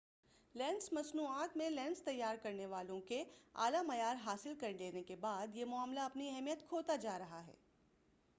lens مصنوعات میں lens تیار کرنے والوں کے اعلی معیار حاصل کر لینے کے بعد یہ معاملہ اپنی اہمیت کھوتا جا رہا ہے